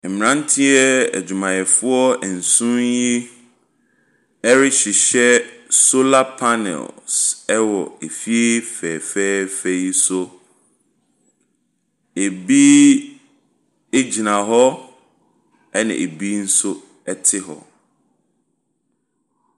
Mmranteɛ adwumayɛfoɔ nson yi rehyehyɛ solar pannel ɛwɔ efie fɛɛfɛ yi so. Ɛbi gyina hɔ na bi nso te hɔ.